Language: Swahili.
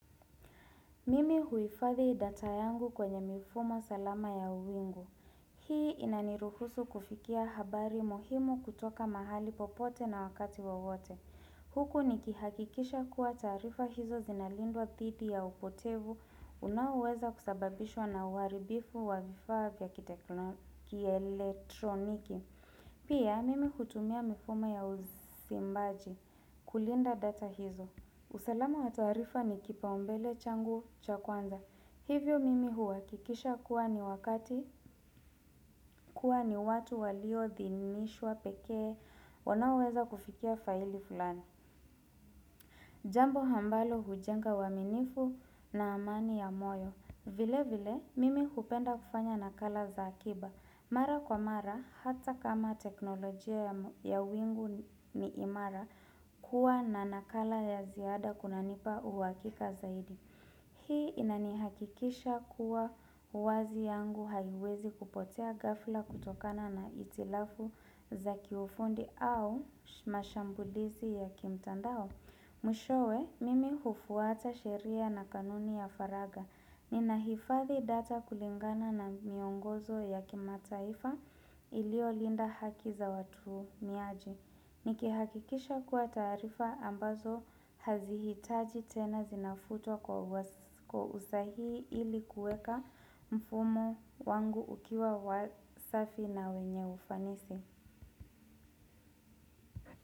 Mimi huifadhi data yangu kwenye mifumo salama ya uwingu. Hii inaniruhusu kufikia habari muhimu kutoka mahali popote na wakati wowote. Huku nikihakikisha kuwa taarifa hizo zinalindwa dhidi ya upotevu unaoweza kusababishwa na uharibifu wa vifaa vya kielektroniki. Pia mimi hutumia mifumo ya uzimbaji kulinda data hizo. Usalama wa taarifa ni kipaumbele changu cha kwanza. Hivyo mimi huakikisha kuwa ni wakati, kuwa ni watu waliodhinishwa pekee, wanaoweza kufikia faili fulani. Jambo ambalo hujenga uaminifu na amani ya moyo. Vile vile mimi hupenda kufanya nakala za akiba. Mara kwa mara hata kama teknolojia ya wingu ni imara, kuwa na nakala ya ziada kunanipa uhakika zaidi. Hii inanihakikisha kuwa uwazi yangu haiwezi kupotea ghafla kutokana na hitilafu za kiufundi au mashambulizi ya kimtandao. Mwishowe, mimi hufuata sheria na kanuni ya faragha. Ninahifathi data kulingana na miongozo ya kimataifa iliyonda haki za watu miaji. Nikihakikisha kuwa taarifa ambazo hazihitaji tena zinafutwa kwa usahii ili kuweka mfumo wangu ukiwa wa safi na wenye ufanisi.